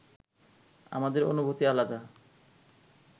আমাদের অনুভূতি আলাদা